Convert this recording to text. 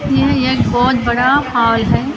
यह बहुत बड़ा हॉल है --